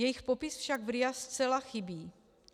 Jejich popis však v RIA zcela chybí.